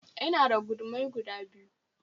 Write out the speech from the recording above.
Ina da gudumai guda biyu